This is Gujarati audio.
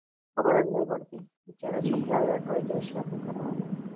ખબર જ હી પડતી બિચારા છોકરા એ અટવાયી જાય છે